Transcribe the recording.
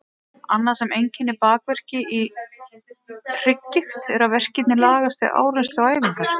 Annað sem einkennir bakverki í hrygggigt er að verkirnir lagast við áreynslu og æfingar.